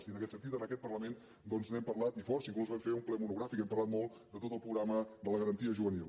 i en aquest sentit en aquest parlament doncs n’hem parlat i força inclús vam fer un ple monogràfic i hem parlat molt de tot el programa de la garantia juvenil